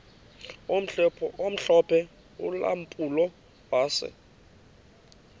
omhlophe ulampulo wase